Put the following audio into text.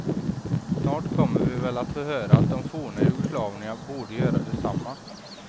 Snart kommer vi väl att få höra att de forna jugoslaverna borde göra detsamma.